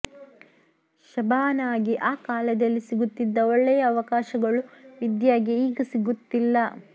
ಶಬಾನಾಗೆ ಆ ಕಾಲದಲ್ಲಿ ಸಿಗುತ್ತಿದ್ದ ಒಳ್ಳೆಯ ಅವಕಾಶಗಳು ವಿದ್ಯಾಗೆ ಈಗ ಸಿಗುತ್ತಿಲ್ಲ